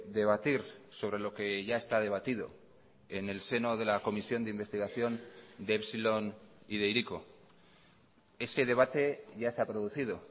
debatir sobre lo que ya está debatido en el seno de la comisión de investigación de epsilon y de hiriko ese debate ya se ha producido